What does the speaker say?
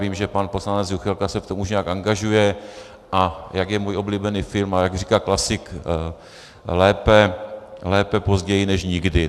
Vím, že pan poslanec Juchelka se v tom už nějak angažuje, a jak je můj oblíbený film a jak říká klasik, lépe později než nikdy.